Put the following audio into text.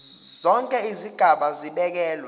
zonke izigaba zibekelwe